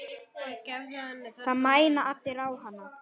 Það mæna allir á hana.